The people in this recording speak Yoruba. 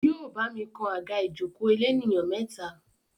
Yóò bámi kan àga ìjòkó elénìyàn meta.